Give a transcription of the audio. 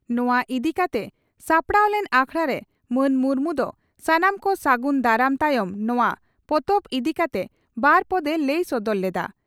ᱱᱚᱣᱟ ᱤᱫᱤ ᱠᱟᱛᱮ ᱥᱟᱯᱲᱟᱣ ᱞᱮᱱ ᱟᱠᱷᱲᱟᱨᱮ ᱢᱟᱱ ᱢᱩᱨᱢᱩ ᱫᱚ ᱥᱟᱱᱟᱢ ᱠᱚ ᱥᱟᱹᱜᱩᱱ ᱫᱟᱨᱟᱢ ᱛᱟᱭᱚᱢ ᱱᱚᱣᱟ ᱯᱚᱛᱚᱵ ᱤᱫᱤ ᱠᱟᱛᱮ ᱵᱟᱨ ᱯᱚᱫ ᱮ ᱞᱟᱹᱭ ᱥᱚᱫᱚᱨ ᱞᱮᱫᱼᱟ ᱾